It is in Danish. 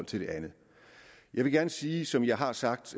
til det andet jeg vil gerne sige som jeg har sagt